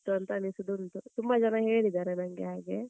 ಅಂತ, ಅನ್ನಿಸುದು ಉಂಟು. ತುಂಬಾ ಜನ ಹೇಳಿದ್ದಾರೆ ನಂಗೆ ಹಾಗೆ.